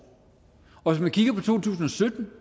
og hvis man kigger på to tusind